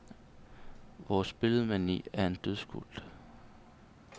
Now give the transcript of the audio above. Vores billedmani er en dødskult.